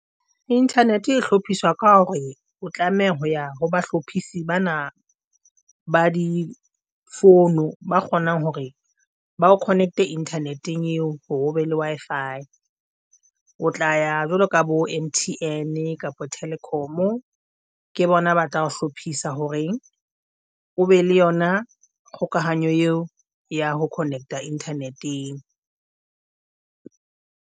Internet e hlophiswa ka hore o tlameha ho ya ho bahlophisi bana ba difono, ba kgonang hore ba o connect internet-eng eo hore o be le Wi-Fi, o tla ya jwalo ka bo M_T_N kapa Telkom ke bona ba tla ho hlophisa hore o be le yona kgokahanyo eo ya ho connect-a internet-eng.